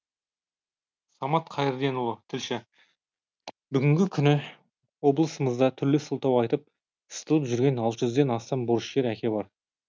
самат қайырденұлы тілші бүгінгі күні облысымызда түрлі сылтау айтып сытылып жүрген алты жүзден астам борышкер әке бар